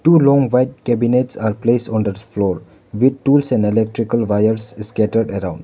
two long white cabinets are placed on the floor with tools and electrical wires scattered around.